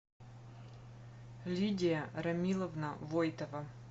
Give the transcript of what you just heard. лидия рамиловна войтова